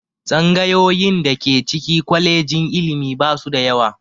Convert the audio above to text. Tsangayoyin da ke ciki kwalejin ilimi ba su da yawa